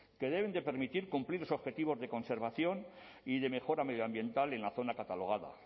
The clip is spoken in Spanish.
que deben permitir cumplir los objetivos de conservación y de mejora medioambiental en la zona catalogada